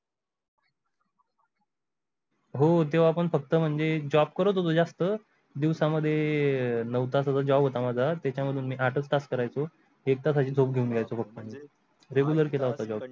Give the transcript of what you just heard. . हो तेव्हा पण फक्त म्हणजे job करत होतो जास्त दिवसांमध्ये नऊ तासाचा job होता माझा त्याच्यामधून मी आठच तास करायचो एक तासाची झोप घेऊन घ्यायचो फक्त Regular केला होता job.